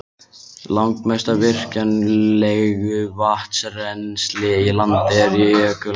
Langmest af virkjanlegu vatnsrennsli í landinu er í jökulám.